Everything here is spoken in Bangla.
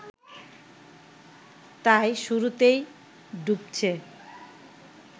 তাই শুরুতেই ডুবছে